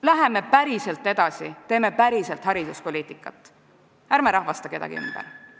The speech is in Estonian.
Läheme päriselt edasi, teeme päriselt hariduspoliitikat, ärme rahvastame kedagi ümber.